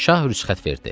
Şah rüsxət verdi.